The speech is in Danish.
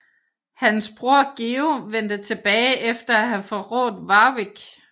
Hans bror Georg vendte tilbage efter at have forrådt Warwick